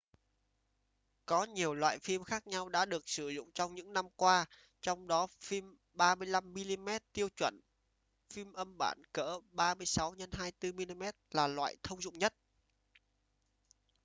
có nhiều loại phim khác nhau đã được sử dụng trong những năm qua. trong đó phim 35 mm tiêu chuẩn phim âm bản cỡ 36 x 24 mm là loại thông dụng nhất